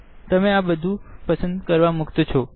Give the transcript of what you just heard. તમે આ બધું પસંદ કરવા મુક્ત છો